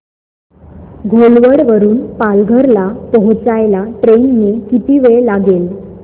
घोलवड वरून पालघर ला पोहचायला ट्रेन ने किती वेळ लागेल